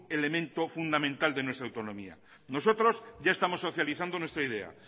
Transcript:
elemento fundamental de nuestra autonomía nosotros ya estamos socializando nuestra idea